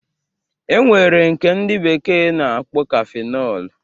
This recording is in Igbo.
E nwere nke ndị bekee na-akpọ kafinọl